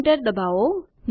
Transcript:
Enter દબાવો